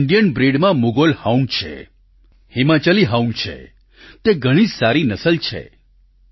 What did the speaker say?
Indian બ્રિડમાં Mudhol hound છે Himachali hound છે તે ઘણી જ સારી નસલ છે